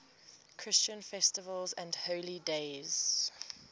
christian festivals and holy days